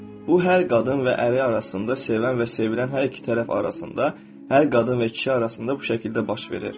Bu hər qadın və əri arasında, sevən və sevilən hər iki tərəf arasında, hər qadın və kişi arasında bu şəkildə baş verir.